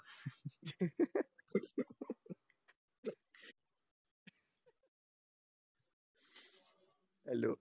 hello